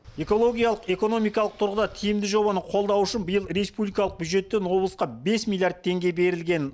экологиялық экономикалық тұрғыда тиімді жобаны қолдау үшін биыл республикалық бюджеттен облысқа бес миллиард теңге берілген